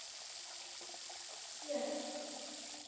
Ari og Björn!